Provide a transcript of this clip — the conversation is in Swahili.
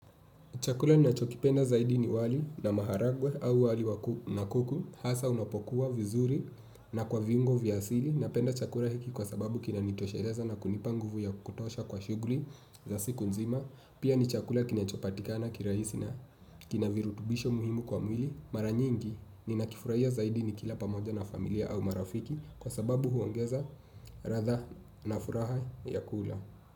Chakula ninachokipenda zaidi ni wali na maharagwe au wali na kuku hasa unapokuwa vizuri na kwa viungo vya asili, napenda chakula hiki kwa sababu kina nitosheleza na kunipanguvu ya kutosha kwa shughuli za siku nzima. Pia ni chakula kinachopatikana kirahisi na kinavirutubisho muhimu kwa mwili maranyingi ninakifurahia zaidi ni kila pamoja na familia au marafiki kwa sababu huongeza ladha na furaha ya kula.